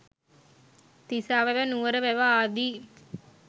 තිසා වැව නුවර වැව ආදී